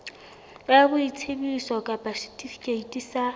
ya boitsebiso kapa setifikeiti sa